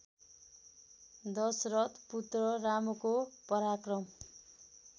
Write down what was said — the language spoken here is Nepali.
दशरथ पुत्र रामको पराक्रम